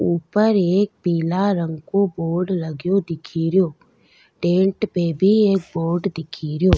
ऊपर एक पीला रंग को बोर्ड लगयो दिखेरयो टेंट पे भी एक बोर्ड दिखेरयो।